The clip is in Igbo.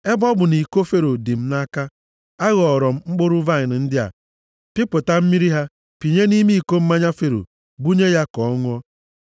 Ebe ọ bụ nʼiko Fero dị m nʼaka, a ghọọrọ m mkpụrụ vaịnị ndị a, pịpụta mmiri ha pịnye nʼime iko mmanya Fero, bunye ya ka ọ ṅụọ.”